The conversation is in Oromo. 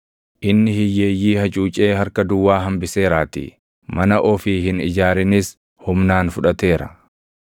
Inni hiyyeeyyii hacuucee harka duwwaa hambiseeraatii; mana ofii hin ijaarinis humnaan fudhateera.